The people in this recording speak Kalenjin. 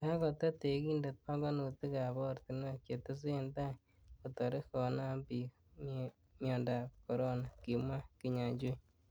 'Kakotet tekindet pongonutik ab ortinwek chetesen tai kotere komanam bik miondab Corona,''Kimwa Kinyajui